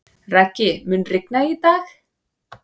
Raggi, mun rigna í dag?